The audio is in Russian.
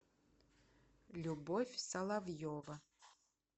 любовь соловьева